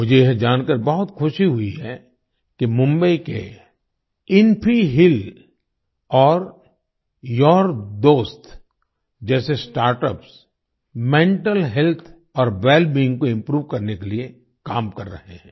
मुझे यह जानकार बहुत ख़ुशी हुई है कि मुंबई के इन्फ़ीहील और यूरदोस्त जैसे स्टार्टअप्स मेंटल हेल्थ और वेलबीइंग को इम्प्रूव करने के लिए काम कर रहे हैं